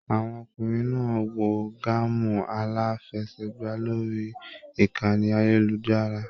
Àwọn ọkùnrin náà wò gaamu alafẹ̀sẹ̀gba lórí ìkànnì ayelujara.